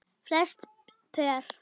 Flest pör